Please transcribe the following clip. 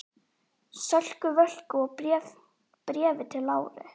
Sölku Völku og Bréfi til Láru.